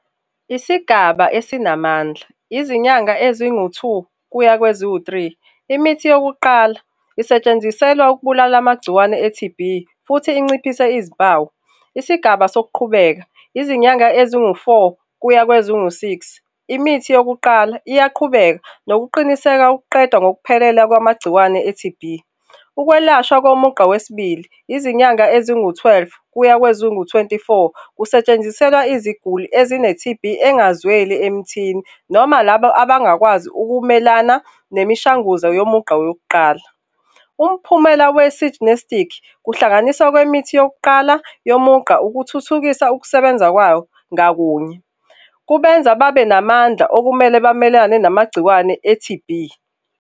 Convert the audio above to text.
Isigaba esinamandla izinyanga ezingu-two kuya kweziwu-three. Imithi yokuqala isetshenziselwa ukubulala amagciwane e-T_B futhi inciphise izimpawu. Isigaba sokuqhubeka, izinyanga ezingu-four kuya kwezingu-six. Imithi yokuqala iyaqhubeka nokuqiniseka ukuqeda ngokuphelela kwamagciwane e-T_B. Ukwelashwa komugqa wesibili, izinyanga ezingu-twelve kuya kwezingu-twenty-four kusetshenziselwa iziguli ezine-T_B engazweli emithini noma labo abangakwazi ukumelana nemishanguzo yomugqa wokuqala. Umphumela , kuhlanganisa kwemithi yokuqala yomugqa ukuthuthukisa ukusebenza kwawo ngakunye. Kubenza babe namandla okumele bamelane namagciwane e-T_B